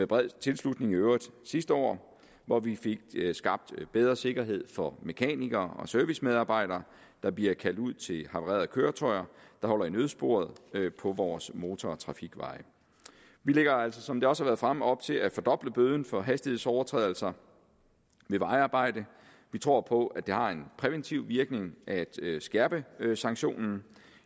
bred tilslutning sidste år hvor vi fik skabt bedre sikkerhed for mekanikere og servicemedarbejdere der bliver kaldt ud til havarerede køretøjer der holder i nødsporet på vores motor og trafikveje vi lægger altså som det også har været fremme op til at fordoble bøden for hastighedsovertrædelser ved vejarbejde vi tror på at det har en præventiv virkning at skærpe sanktionerne